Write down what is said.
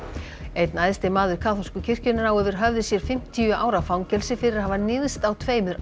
einn æðsti maður kaþólsku kirkjunnar á yfir höfði sér fimmtíu ára fangelsi fyrir að hafa níðst á tveimur